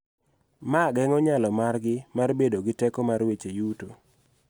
Ma geng�o nyalo margi mar bedo gi teko mar weche yuto.